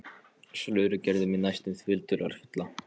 Slörið gerði mig næstum því dularfulla.